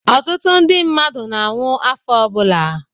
ọtụtụ ndi mmadụ na-anwụ afọ ọbụla